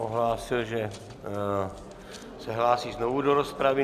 Ohlásil, že se hlásí znovu do rozpravy.